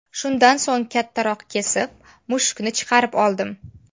Shundan so‘ng, kattaroq kesib, mushukni chiqarib oldim.